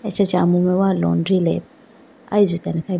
acha chee amume wa laundry lab ayi jutene khayi bi.